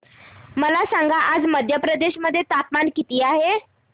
मला सांगा आज मध्य प्रदेश मध्ये तापमान किती आहे